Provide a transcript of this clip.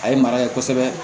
A ye mara kɛ kosɛbɛ